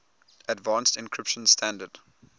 advanced encryption standard